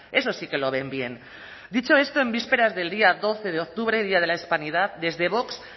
eso sí que lo ven bien dicho esto en vísperas del día doce de octubre día de la hispanidad desde vox